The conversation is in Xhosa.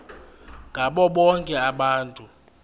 ngabo bonke abantu